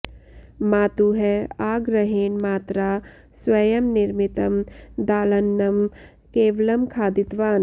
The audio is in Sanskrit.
मातुः आग्रहेण मात्रा स्वयं निर्मितं दालान्नं केवलं खादितवान्